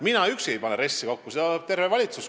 Mina üksi ei pane RES-i kokku, seda paneb kokku terve valitsus.